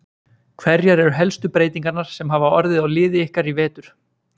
Hverjar eru helstu breytingarnar sem hafa orðið á liði ykkar í vetur?